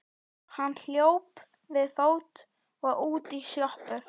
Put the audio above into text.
Hann hljóp við fót og út í sjoppu.